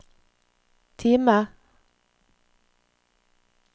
Time